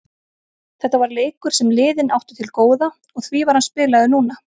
Þetta var leikur sem liðin áttu til góða og því var hann spilaður núna.